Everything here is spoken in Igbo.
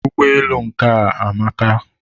ụgbọelu nke a amaka